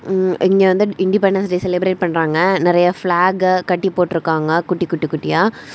ம் இங்க வந்து இண்டிபெண்டன்ஸ் டே செலிபரேட் பண்றாங்க நிறைய பிளாக் கட்டி போட்டு இருக்காங்க குட்டி குட்டி குட்டியா.